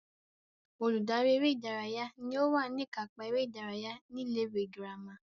Olùdarí eré ìdárayá ní ó wà ní ìkápá eré ìdárayá ní ilé ìwé girama